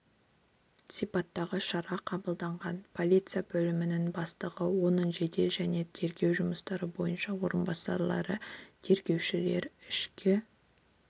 сипаттағы шара қабылданған полиция бөлімінің бастығы оның жедел және тергеу жұмыстары бойынша орынбасарлары тергеушілер ішкі